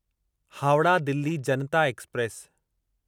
Howrah Delhi Janata express